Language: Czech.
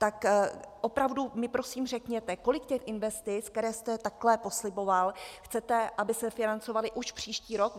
Tak opravdu mi prosím řekněte, kolik těch investic, které jste takhle posliboval, chcete, aby se financovalo už příští rok.